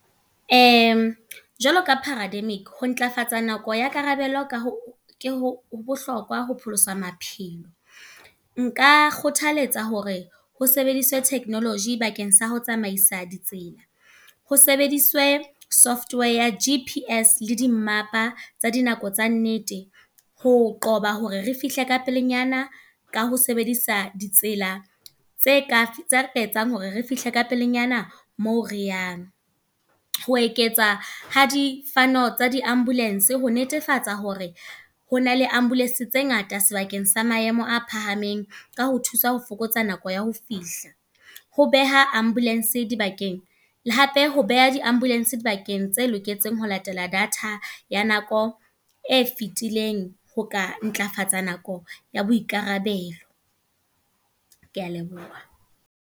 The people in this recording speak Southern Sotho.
Jwalo ka parademic, ho ntlafatsa nako ya karabelo, ka ho ke ho ho bohlokwa ho pholosa maphelo. Nka kgothaletsa hore ho sebediswe technology bakeng sa ho tsamaisa di tsela. Ho sebediswe Software ya G_P_S le dimmapa tsa dinako tsa nnete. Ho qoba hore re fihle ka pelenyana. Ka ho sebedisa ditsela tse ka etsang hore re fihle ka pelenyana moo re yang. Ho eketsa ha di tsa di ambulance ho netefatsa hore ho na le ambulance tse ngata sebakeng sa maemo a phahameng. Ka ho thuswa ho fokotsa nako ya ho fihla. Ho beha ambulance di bakeng la hape, ho beha di ambulance dibakeng tse loketseng ho latela data ya nako e fitileng. Ho ka ntlafatsa nako ya boikarabelo. Kea leboha.